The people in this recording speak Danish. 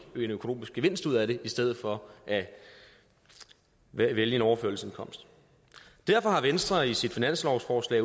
økonomisk gevinst ud af det i stedet for at vælge en overførselsindkomst derfor har venstre i sit finanslovsforslag